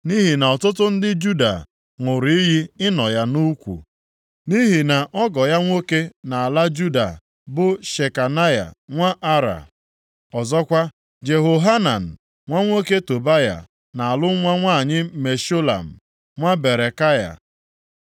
Nʼihi na ọtụtụ ndị Juda ṅụrụ iyi ịnọ ya nʼukwu, nʼihi na ọgọ ya nwoke nʼala Juda bụ Shekanaya nwa Ara. Ọzọkwa, Jehohanan nwa nwoke Tobaya na-alụ nwa nwanyị Meshulam, nwa Berekaya.